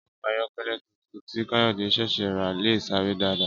Ọkọ̀ ayọ̀kẹ́lẹ́ tuntun tí Káyọ̀dé ṣẹ̀ṣẹ̀ rà lè sáré dáadáa